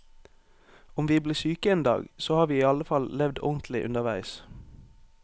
Om vi blir syke en dag, så har vi i alle fall levd ordentlig underveis.